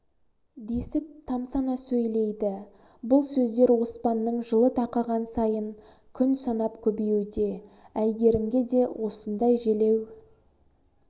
десіп тамсана сөйлейді бұл сөздер оспанның жылы тақаған сайын күн санап көбеюде әйгерімге де осындай желеу